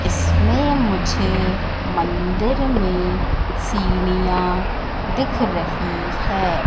इसमें मुझे मंदिर में सीढ़ियां दिख रही है।